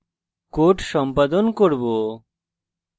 এখানে code সম্পাদন করব